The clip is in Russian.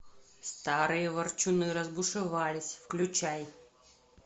старые ворчуны разбушевались включай